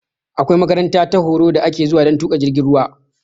Akwai makaranta ta horo da ake zuwa dan tuƙa jirgin ruwa